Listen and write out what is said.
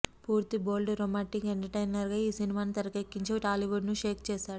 పూర్తి bold romantic ఎంటర్టైనర్గా ఈ సినిమాను తెరకెక్కించి టాలీవుడ్ను షేక్ చేశాడు